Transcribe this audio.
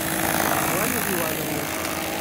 светлане ивановне